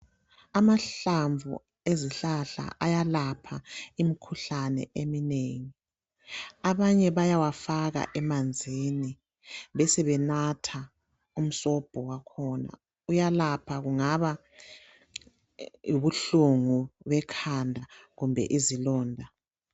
Amahlamvu ezihlahla ayelapha imikhuhlane eminengi. Abanye bayawafaka emanzini besebenatha umsobho wakhona . Uyelapha kungaba yibuhlungu bekhanda kumbe izilonda.